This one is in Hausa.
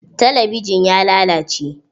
Talabijin ya lalace.